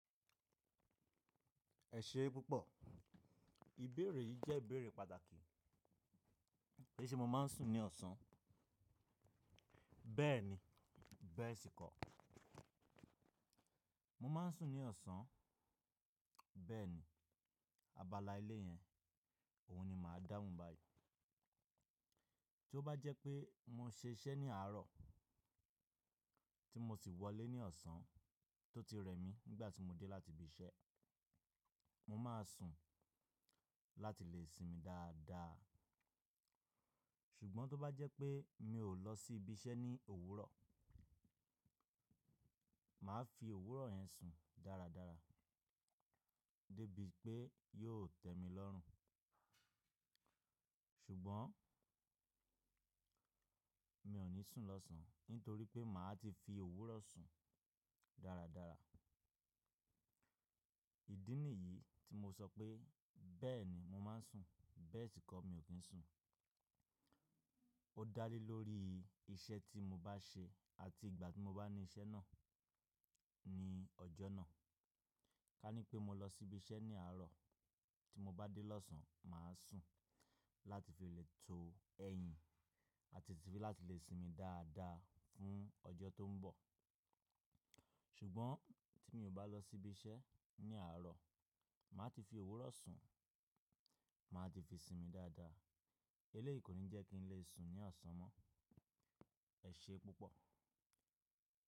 Ẹ ṣe púpọ̀, ìbéèrè yìí jẹ́ ìbéèrè pàtàkì. Ṣé mo máa ń sùn ní ọ̀sán? Bẹ́ẹ̀ni, bẹ́ẹ̀ sì kọ́. Mo máa ń sùn ní ọ̀sán, bẹ́ẹ̀ni. Abala èleyẹn, òhun ni màá dáhùn báyìí. Tí ó bá jẹ́ pé mo ṣe iṣẹ́ ní àárọ̀, tí mo sì wọlé ní ọ̀sán tó ti rẹ̀ mí nígbà tí mo dé láti ibi iṣẹ́, mo máa sùn láti lè sinmi dáadáa. Ṣùgbọ́n tó bá jẹ́ pé mi ò lọ sí ibi iṣẹ́ ní òwúrọ̀, màá fi òwúrọ̀ yẹn sùn dáradára débi pé yóò tẹ́mi lọ́rùn. Ṣùgbọ́n mi ò ní sùn lọ́sàn nítorí pé màá ti fi òwúrọ̀ sùn dáradára. Ìdí nìyí tí mo sọ pé “bẹ́ẹ̀ni mo máa ń sùn, bẹ́ẹ̀ sì kọ́ mi ò kí ń sùn”. Ó dá lé lórí iṣẹ́ tí mo bá ṣe àti ìgbà tí mo bá ní iṣẹ́ náà ní ọjọ́ náà. Ká ní pé mo lọ sí ibi iṣẹ́ ní àárọ̀, tí mo bá dé lọ́sàn, màá sùn láti fi lè to ẹ̀yìn àti láti lè sinmi dáadáa fún ọjọ́ tó ń bọ̀. Ṣùgbọ́n tí mi ò bá lọ sí ibi iṣẹ́ ní àárọ̀, màá ti fi òwúrọ̀ sùn, mà á ti fi sinmi dáadáa. Èleyíí kò ní jẹ́ kí n lè sùn ní ọ̀sán mọ́. Ẹ ṣe púpọ̀.